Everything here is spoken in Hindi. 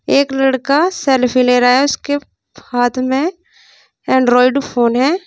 एक लड़का सेल्फी ले रहा है उसके हाथ में एंड्रॉइड फोन है।